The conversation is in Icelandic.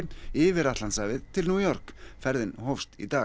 yfir Atlantshafið til New York ferðin hófst í dag